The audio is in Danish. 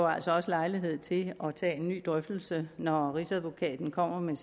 altså også lejlighed til at tage en ny drøftelse når rigsadvokaten kommer med